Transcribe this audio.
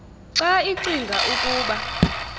xa icinga ukuba